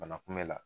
Bana kunbɛn la